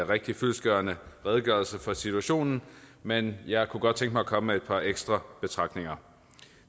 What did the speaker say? rigtig fyldestgørende redegørelse for situationen men jeg kunne godt tænke mig at komme med et par ekstra betragtninger